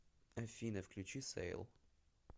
афина включи сэйл